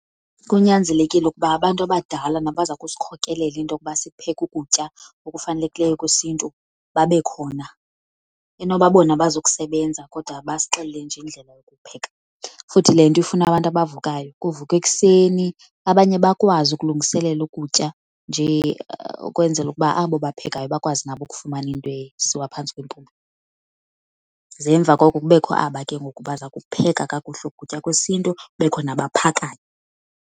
Kunyanzelekile ukuba abantu abadala nabaza kusikhokelela into yokuba sipheke ukutya okufanelekileyo kwesiNtu babe khona. Enoba bona abazi kusebenza kodwa basixelele nje indlela yokupheka. Futhi le nto ifuna abantu abavukayo. Kuvukwa ekuseni abanye bakwazi ukulungiselela ukutya nje ukwenzela ukuba abo baphekayo bakwazi nabo ukufumana into esiwa phantsi kwempumlo. Ze emva koko kubekho aba ke ngoku baza kupheka kakuhle ukutya kwesiNtu kubekho nabaphakayo.